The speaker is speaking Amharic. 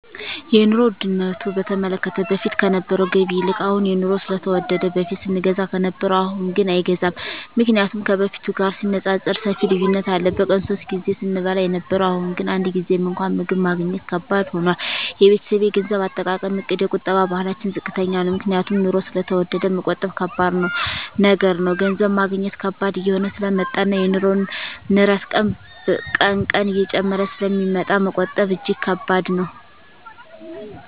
የኑሮ ዉድነቱ በተመለከተ በፊት ከነበረዉ ገቢ ይልቅ አሁን የኑሮዉ ስለተወደደ በፊት ስንገዛ ከነበረ አሁንግን አይገዛም ምክንያቱም ከበፊቱ ጋር ሲነፃፀር ሰፊ ልዩነት አለ በቀን ሶስት ጊዜ ስንበላ የነበረዉ አሁን ግን አንድ ጊዜም እንኳን ምግብ ማግኘት ከባድ ሆኗል የቤተሰቤ የገንዘብ አጠቃቀምእቅድ የቁጠባ ባህላችን ዝቅተኛ ነዉ ምክንያቱም ኑሮዉ ስለተወደደ መቆጠብ ከባድ ነገር ነዉ ገንዘብ ማግኘት ከባድ እየሆነ ስለመጣእና የኑሮዉ ንረት ቀን ቀን እየጨመረ ስለሚመጣ መቆጠብ እጂግ ከባድ ነዉ